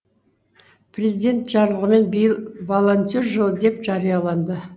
президент жарлығымен биыл волонтер жылы деп жарияланды